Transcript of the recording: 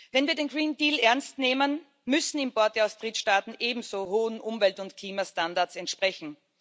Wenn wir den Green Deal ernst nehmen, müssen Importe aus Drittstaaten ebenso hohen Umwelt und Klimastandards entsprechen.